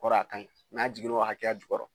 A kɔrɔ ye a ka ɲi n'a jiginr'a hakɛya jukɔrɔ